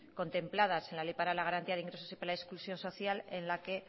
contempladas en la ley para la garantía de ingresos y la exclusión social en la que